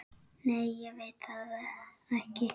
Nei ég veit það ekki.